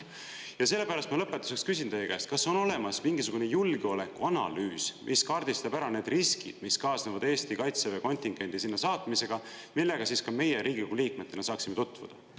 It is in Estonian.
Ja sellepärast ma lõpetuseks küsin teie käest, kas on olemas mingisugune julgeolekuanalüüs, mis kaardistab ära need riskid, mis kaasnevad Eesti Kaitseväe kontingendi sinna saatmisega, millega ka meie Riigikogu liikmetena saaksime tutvuda?